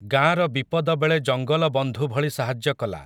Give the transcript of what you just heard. ଗାଁର ବିପଦବେଳେ ଜଙ୍ଗଲ ବନ୍ଧୁ ଭଳି ସାହାଯ୍ୟ କଲା ।